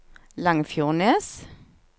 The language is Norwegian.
Langfjordnes